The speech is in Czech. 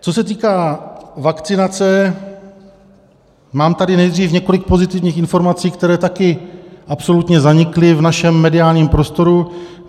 Co se týká vakcinace, mám tady nejdřív několik pozitivních informací, které také absolutně zanikly v našem mediálním prostoru.